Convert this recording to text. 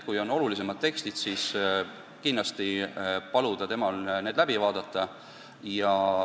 Kui on olulisemad tekstid, siis võiks paluda keeletoimetajal need läbi vaadata.